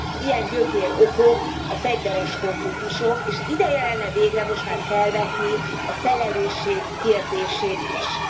Ilyen gyökérokok a fegyveres konfliktusok, és ideje lenne végre most már felvetni a felelősség kérdését is.